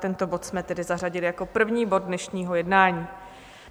Tento bod jsme tedy zařadili jako první bod dnešního jednání.